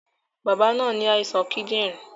Bàbá náà ní àìsàn kídìrín